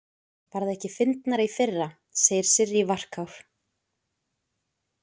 Var það ekki fyndnara í fyrra, segir Sirrý, varkár.